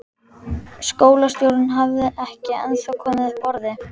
Skólastjórinn hafði ekki ennþá komið upp orði.